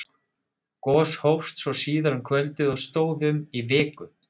gos hófst svo síðar um kvöldið og stóð í um viku